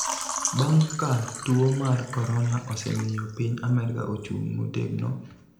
bang� ka tuo mar korona osemiyo piny Amerka ochung� motegno,